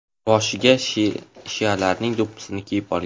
Boshiga shialarning do‘ppisini kiyib olgan.